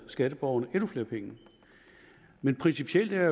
skatteborgerne endnu flere penge men principielt er